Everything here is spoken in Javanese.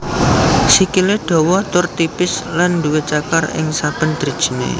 Sikilè dawa tur tipis lan duwé cakar ing saben drijinè